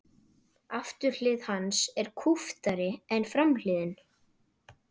Afturhlið hans er kúptari en framhliðin.